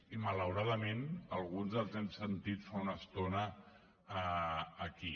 i malauradament alguns els hem sentit fa una estona aquí